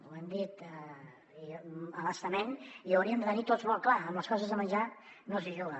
ho hem dit a bastament i ho hauríem de tenir tots molt clar amb les coses de menjar no s’hi juga